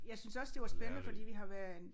Jeg syntes også det var spændende fordi vi har været en